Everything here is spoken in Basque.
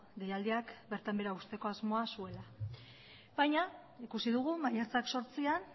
deialdiak bertan behera uzteko asmoa zuela baina ikusi dugu maiatzak zortzian